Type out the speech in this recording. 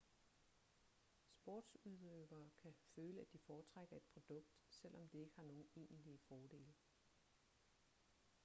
sportsudøvere kan føle at de foretrækker et produkt selvom det ikke har nogen egentlige fordele